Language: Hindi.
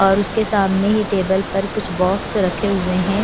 और उसके सामने ही टेबल पर कुछ बॉक्स रखे हुए हैं।